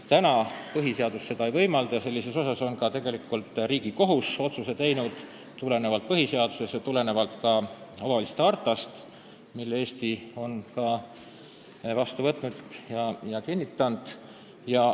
Seda põhiseadus praegu ei võimalda, selle kohta on ka Riigikohus teinud otsuse lähtudes põhiseadusest ja ka Euroopa kohaliku omavalitsuse hartast, mille Eesti on vastu võtnud ja kinnitanud.